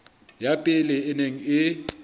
ya pele e neng e